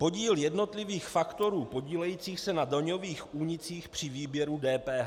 Podíl jednotlivých faktorů podílejících se na daňových únicích při výběru DPH.